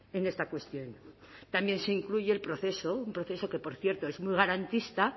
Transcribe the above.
en esta cuestión también se incluye el proceso un proceso que por cierto es muy garantista